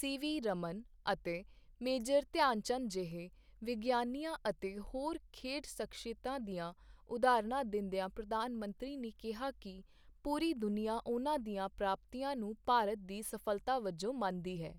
CV. Raman ਅਤੇ major Dhyan Chand ਜਿਹੇ ਵਿਗਿਆਨੀਆਂ ਅਤੇ ਹੋਰ ਖੇਡ ਸ਼ਖ਼ਸੀਅਤਾਂ ਦੀਆਂ ਉਦਾਹਰਣਾਂ ਦਿੰਦਿਆਂ ਪ੍ਰਧਾਨ ਮੰਤਰੀ ਨੇ ਕਿਹਾ ਕਿ ਪੂਰੀ ਦੁਨੀਆ ਉਨ੍ਹਾਂ ਦੀਆਂ ਪ੍ਰਾਪਤੀਆਂ ਨੂੰ ਭਾਰਤ ਦੀ ਸਫ਼ਲਤਾ ਵਜੋਂ ਮੰਨਦੀ ਹੈ।